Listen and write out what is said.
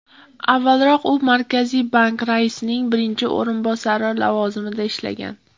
Avvalroq u Markaziy bank raisining birinchi o‘rinbosari lavozimida ishlagan.